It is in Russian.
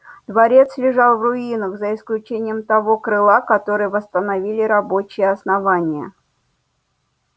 дворец лежал в руинах за исключением того крыла которое восстановили рабочие основания